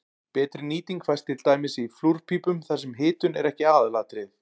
Betri nýting fæst til dæmis í flúrpípum þar sem hitun er ekki aðalatriðið.